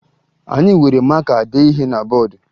Anyị were maka dee ihe na bọọdụ